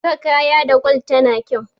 saka kaya da gwal tana kyau